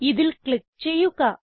ഇതിൽ ക്ലിക്ക് ചെയ്യുക